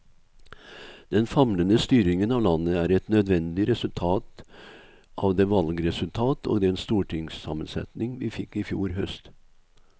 Den famlende styringen av landet er et nødvendig resultat av det valgresultat og den stortingssammensetning vi fikk i fjor høst.